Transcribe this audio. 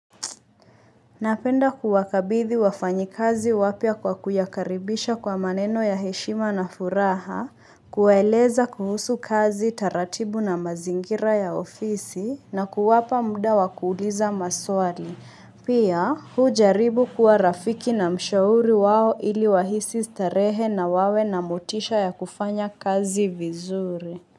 Napenda kuwakabithi wafanyakazi wapya kwa kuyakaribisha kwa maneno ya heshima na furaha, kuwaeleza kuhusu kazi taratibu na mazingira ya ofisi, na kuwapa muda wakuuliza maswali. Pia, hujaribu kuwa rafiki na mshauri wao ili wahisi starehe na wawe na motisha ya kufanya kazi vizuri.